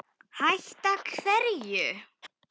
Hætta hverju?